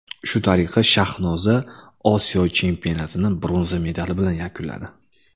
Shu tariqa Shahnoza Osiyo chempionatini bronza medali bilan yakunladi.